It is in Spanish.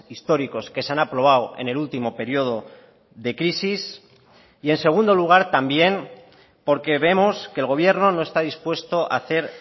históricos que se han aprobado en el último periodo de crisis y en segundo lugar también porque vemos que el gobierno no está dispuesto a hacer